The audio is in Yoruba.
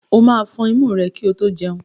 O máa fọn imú rẹ kí o tó jẹun.